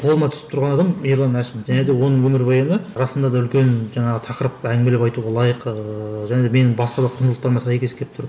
қолыма түсіп тұрған адам ерлан әшім және оның өмірбаяны расында да үлкен жаңағы тақырып әңгімелеп айтуға лайық ыыы және менің басқа да құндылықтарыма сәйкес келіп тұр